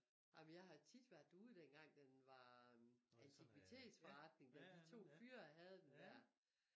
Ej men jeg har tit været derude dengang den var antikvitetsforretning da de to fyre havde den dér